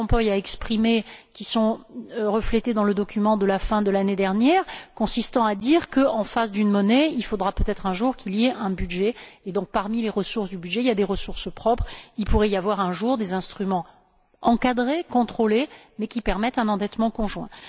Van Rompuy a exprimées, qui sont reflétées dans le document de la fin de l'année dernière, selon lesquelles, en face d'une monnaie, il faudra peut être, un jour, qu'il y ait un budget, et que donc, si parmi les ressources du budget, il y a des ressources propres, il pourrait y avoir un jour des instruments encadrés, contrôlés, mais qui permettent un endettement conjoint.